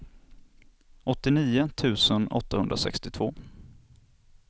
åttionio tusen åttahundrasextiotvå